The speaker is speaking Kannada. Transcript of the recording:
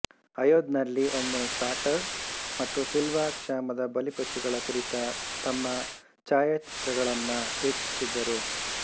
ಅಯೋದ್ ನಲ್ಲಿ ಒಮ್ಮೆ ಕಾರ್ಟರ್ ಮತ್ತು ಸಿಲ್ವಾ ಕ್ಷಾಮದ ಬಲಿಪಶುಗಳ ಕುರಿತ ತಮ್ಮ ಛಾಯಚಿತ್ರಗಳನ್ನು ವೀಕ್ಷಿಸುತ್ತಿದ್ದರು